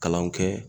Kalanw kɛ